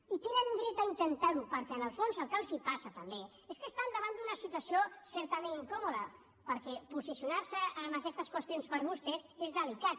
i tenen dret a intentar ho perquè en el fons el que els passa també és que estan davant d’una situació certament incòmoda perquè posicionar se en aquestes qüestions per a vostès és delicat